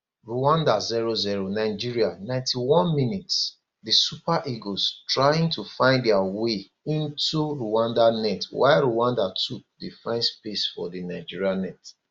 rwanda 00 nigeria 901mins di super eagles trying to find dia way into rwanda net while rwanda too dey find space for di nigeria net